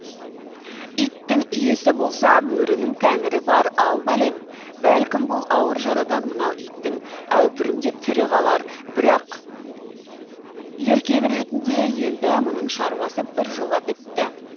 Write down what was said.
иттің иесі болса бөрінің тәңірі бар ал бәлем бәлкім бұл ауыр жарадан мынау итің әупірімдеп тірі қалар бірақ еркек ретінде енді мұның шаруасы біржола бітті